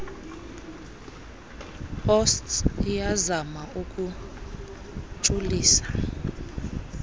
osts iyazama ukuntshulisa